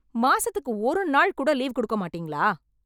மாசத்துக்கு ஒரு நாள் கூட லீவ் கொடுக்க மாட்டீங்களா